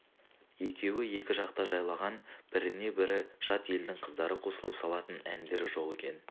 екеуі екі жақта жайлаған біріне бірі жат елдің қыздары қосылып салатын әндері жоқ екен